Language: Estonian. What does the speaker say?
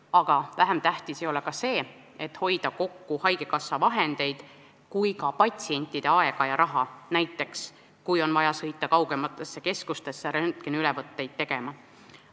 Aga vähem tähtis ei ole ka see, et saaks hoida kokku nii haigekassa vahendeid kui ka patsientide aega ja raha, et näiteks patsiendil ei oleks vaja sõita kaugemasse keskusesse röntgeniülesvõtet tegema.